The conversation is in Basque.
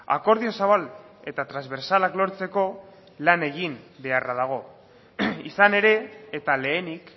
akordio zabal eta transbertsalak lortzeko lan egin beharra dago izan ere eta lehenik